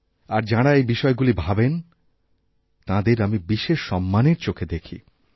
আর যাঁরা এই বিষয়গুলি ভাবেন তাঁদের আমি বিশেষ সম্মানের চোখে দেখি